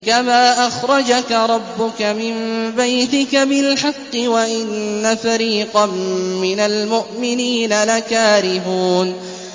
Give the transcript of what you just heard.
كَمَا أَخْرَجَكَ رَبُّكَ مِن بَيْتِكَ بِالْحَقِّ وَإِنَّ فَرِيقًا مِّنَ الْمُؤْمِنِينَ لَكَارِهُونَ